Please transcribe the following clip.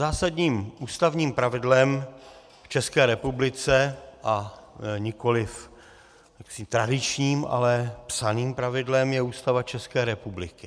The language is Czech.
Zásadním ústavním pravidlem v České republice, a nikoliv tradičním, ale psaným pravidlem, je Ústava České republiky.